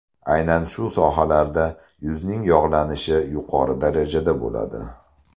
Aynan shu sohalarda yuzning yog‘lanishi yuqori darajada bo‘ladi.